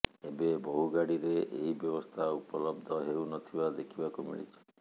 ଏବେ ବହୁ ଗାଡିରେ ଏହି ବ୍ୟବସ୍ଥା ଉପଲବ୍ଧ ହେଉ ନଥିବା ଦେଖିବାକୁ ମିଳିଛି